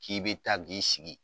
K'i bɛ taa ji sigi